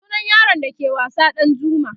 sunan yaron da ke wasa Ɗanjuma